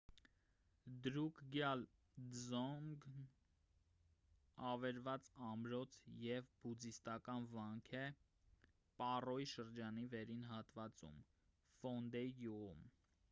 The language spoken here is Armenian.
դրուկգյալ դզոնգն ավերված ամրոց և բուդդիստական վանք է պառոյի շրջանի վերին հատվածում ֆոնդեյ գյուղում: